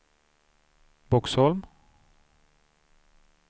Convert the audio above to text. Boxholm